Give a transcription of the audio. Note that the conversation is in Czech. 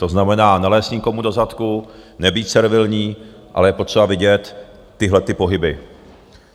To znamená, nelézt nikomu do zadku, nebýt servilní, ale je potřeba vidět tyhle pohyby.